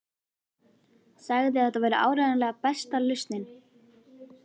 Sagði að þetta væri áreiðanlega besta lausnin.